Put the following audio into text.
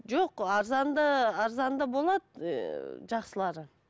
жоқ арзаны да арзаны да болады ыыы жақсылары